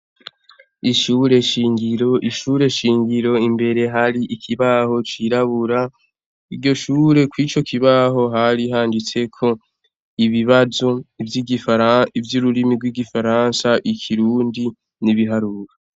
Ishure shingiro, Ishure shingiro Imbere hari ikibaho cirabura iryo shure kwico kibaho hari handitseko ibibazo vyururimi rw'ifaransa, ikirundi , nibiharuro.